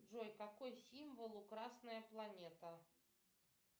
джой какой символ у красная планета